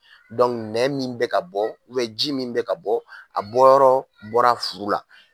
nɛn min bɛ ka bɔ ji min bɛ ka bɔ a bɔ yɔrɔ bɔra furu la